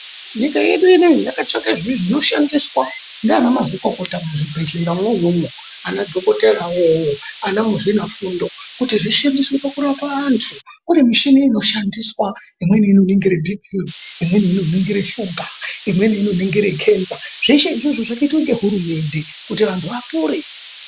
Nyika yedu inoiyi yakatsvaka zvinoshanditswa ndivana mazvikokota, mizvibhedheramo imomo, ana dhokotera wo iwowo, vana muzvinafundo, kuti zvishandiswe pakurapa antu kune michini inoshandiswa, imweni inoningire bipii, imweni inoningira shuga, imweni inoningire ketsa..Zvieshe izvozvo zvakaiitwe nehurumende kuti antu vapore.